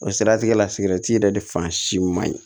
O siratigɛ la sigɛriti yɛrɛ de fan si man ɲi